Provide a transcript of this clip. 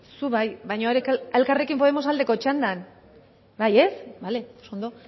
zu bai baina elkarrekin podemos aldeko txandan bale oso ondo